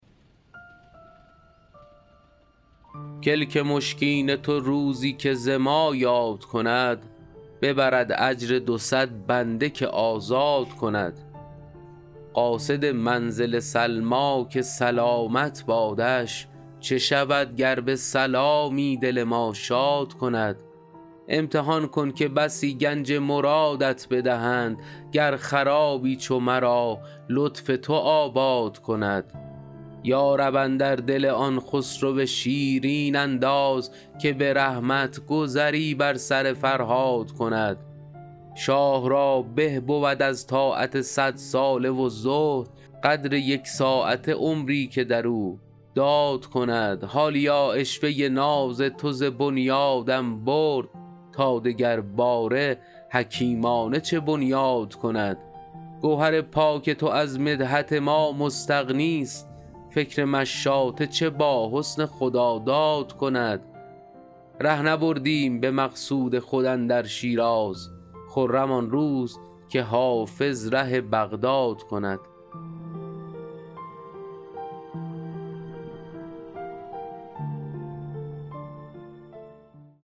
کلک مشکین تو روزی که ز ما یاد کند ببرد اجر دو صد بنده که آزاد کند قاصد منزل سلمیٰ که سلامت بادش چه شود گر به سلامی دل ما شاد کند امتحان کن که بسی گنج مرادت بدهند گر خرابی چو مرا لطف تو آباد کند یا رب اندر دل آن خسرو شیرین انداز که به رحمت گذری بر سر فرهاد کند شاه را به بود از طاعت صدساله و زهد قدر یک ساعته عمری که در او داد کند حالیا عشوه ناز تو ز بنیادم برد تا دگرباره حکیمانه چه بنیاد کند گوهر پاک تو از مدحت ما مستغنیست فکر مشاطه چه با حسن خداداد کند ره نبردیم به مقصود خود اندر شیراز خرم آن روز که حافظ ره بغداد کند